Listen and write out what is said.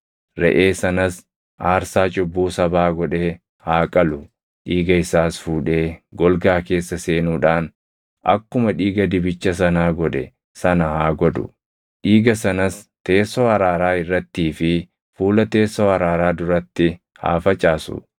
“Reʼee sanas aarsaa cubbuu sabaa godhee haa qalu; dhiiga isaas fuudhee golgaa keessa seenuudhaan akkuma dhiiga dibicha sanaa godhe sana haa godhu; dhiiga sanas teessoo araaraa irrattii fi fuula teessoo araaraa duratti haa facaasu.